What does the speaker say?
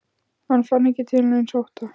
Hann fann ekki til neins ótta.